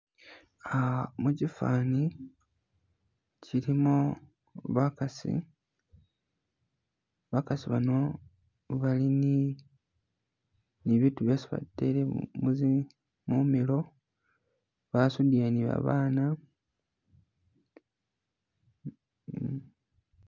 Ih mukifaani, kyilimo bakaasi, bakaasi bano bali ni ni bibitu byesi batele mumilo, basudile ne babaana .